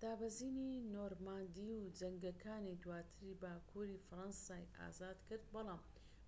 دابەزینی نۆرماندی و جەنگەکانی دواتر باکووری فەرەنسای ئازادکرد بەڵام